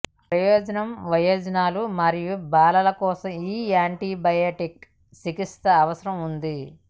ప్రయోజనం వయోజనులు మరియు బాలల కోసం ఈ యాంటీబయాటిక్ చికిత్స అవకాశం ఉంది